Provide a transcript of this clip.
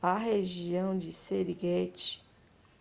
a região de serengeti